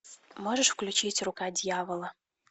можешь включить рука дьявола